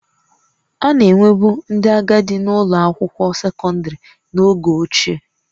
A na-enwebu ndị agadi na-ụlọ akwụkwọ sekọndrị n'oge ochie